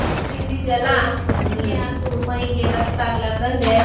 ಮತ್ತ್ ತಿಂದಿದೆಲ್ಲಾ ಯಾವ್ದು ಮೈಗೆ ರಕ್ತ ಆಗಲಾರದಂಗ್.